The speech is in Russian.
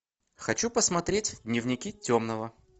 хочу посмотреть дневники темного